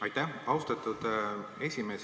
Aitäh, austatud esimees!